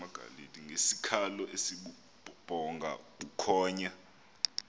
ngesikhalo esibubhonga bukhonya